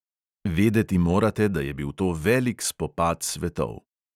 Vedeti morate, da je bil to velik spopad svetov.